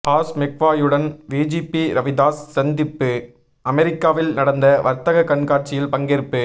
hall மெக்வாயுடன் VGP Ravidas சந்திப்பு அமெரிக்காவில் நடந்த வர்த்தக கண்காட்சியில் பங்கேற்பு